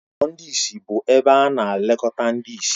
Ụlọ ndị ìsì bụ ebe ana-elekọta ndị ìsì